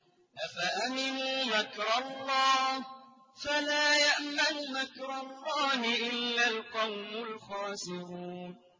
أَفَأَمِنُوا مَكْرَ اللَّهِ ۚ فَلَا يَأْمَنُ مَكْرَ اللَّهِ إِلَّا الْقَوْمُ الْخَاسِرُونَ